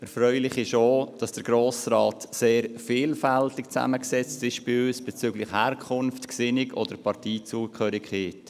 Erfreulich ist auch, dass der Grosse Rat bei uns sehr vielfältig zusammengesetzt ist bezüglich Herkunft, Gesinnung oder Parteizugehörigkeit.